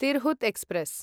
Tirhut express